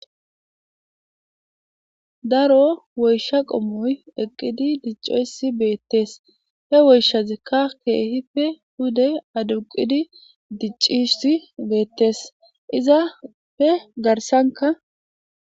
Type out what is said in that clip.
Daro woysha qommoy eqqidi diccoysi beettes he woyshazikka keehife huday aduqidi diccisi beettes izapfe garsanka